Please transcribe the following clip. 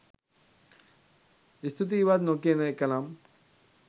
ස්තුතියිවත් නොකියන එකනම්